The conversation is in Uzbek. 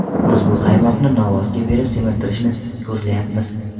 Biz bu qaymoqni novvosga berib semirtirishni ko‘zlayapmiz.